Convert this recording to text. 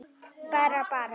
Grillað að kvöldi dags.